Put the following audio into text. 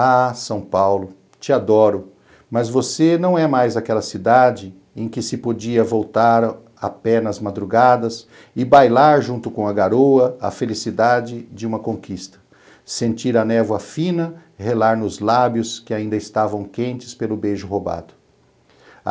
Ah, São Paulo, te adoro, mas você não é mais aquela cidade em que se podia voltar a pé nas madrugadas e bailar junto com a garoa a felicidade de uma conquista, sentir a névoa fina relar nos lábios que ainda estavam quentes pelo beijo roubado.